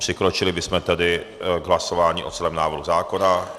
Přikročili bychom tedy k hlasování o celém návrhu zákona.